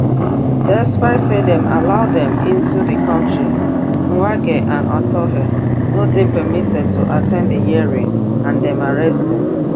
despite say dem allow dem into di kontri mwangi and atuhaire no dey permitted to at ten d di hearing and dem arrest dem